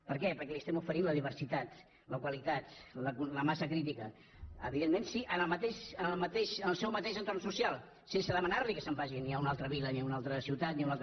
per què perquè li estem oferint la diversitat la qualitat la massa crítica evidentment sí en el seu mateix entorn social sense demanar·li que se’n vagi ni a una altra vila ni a una altra ciutat ni a un altre